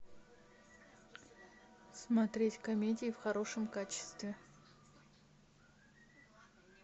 смотреть комедии в хорошем качестве